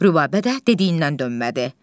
Rübəbə də dediyindən dönmədi.